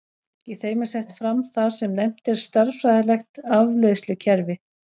Í þeim er sett fram það sem nefnt er stærðfræðilegt afleiðslukerfi.